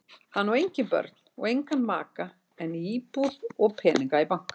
Hann á engin börn og engan maka en íbúð og peninga í banka.